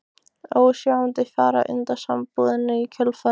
Ósjaldan fjarar undan sambúðinni í kjölfarið.